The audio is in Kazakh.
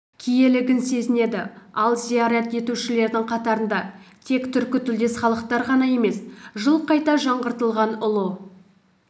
киелігін сезінеді ал зиярат етушілердің қатарында тек түркітілдес халықтар ғана емес жылы қайта жаңғыртылған ұлы